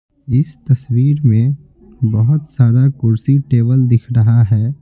इस तस्वीर में बहुत सारा कुर्सी टेबल दिख रहा है।